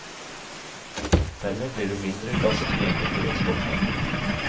Dermed blir det mindre gass tilgjengelig for eksportmarkedet.